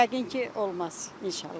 Yəqin ki, olmaz, inşallah.